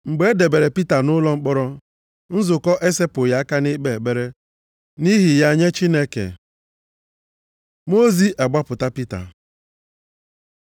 Mgbe e debere Pita nʼụlọ mkpọrọ, nzukọ esepụghị aka nʼikpe ekpere nʼihi ya nye Chineke. Mmụọ ozi agbapụta Pita